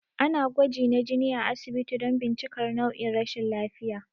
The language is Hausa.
Ana gwaji na jini a asibiti don bincikar nau'in rashin lafiya